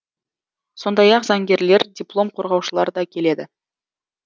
сондай ақ заңгерлер диплом қорғаушылар да келеді